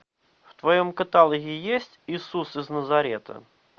в твоем каталоге есть иисус из назарета